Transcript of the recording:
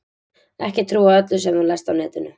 Ekki trúa öllu sem þú lest á netinu.